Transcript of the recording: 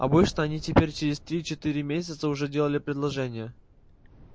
обычно они теперь через три-четыре месяца уже делали предложение